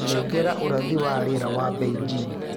nengera ũrathi wa rĩera wa beijing